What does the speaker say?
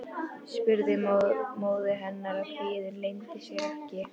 spurði móðir hennar og kvíðinn leyndi sér ekki.